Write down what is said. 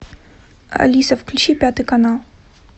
алиса включи пятый канал